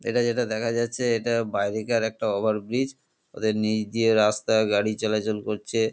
এটা যেটা দেখা যাচ্ছে এটা বাইরেকার একটা ওভারব্রিজ ওদের নিচ দিয়ে রাস্তা গাড়ি চলাচল করছে।